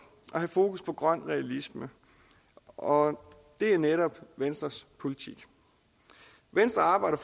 og have fokus på grøn realisme og det er netop venstres politik venstre arbejder